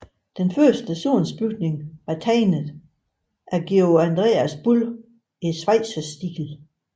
Den første stationsbygning var tegnet af Georg Andreas Bull i schweizerstil